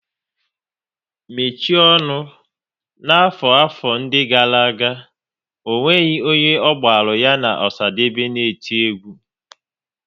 Mechie ọnụ! N'afọ 'afọ ndị gara aga, ọ nweghị onye ọ gbaru ya na Osadebe n' iti egwu